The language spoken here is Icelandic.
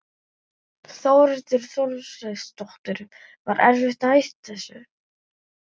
Þórhildur Þorkelsdóttir: Var erfitt að hætta þessu?